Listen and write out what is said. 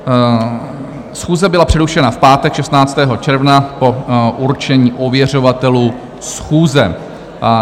Schůze byla přerušena v pátek 16. června po určení ověřovatelů schůze.